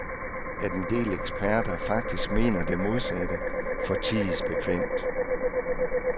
At en del eksperter faktisk mener det modsatte, forties bekvemt.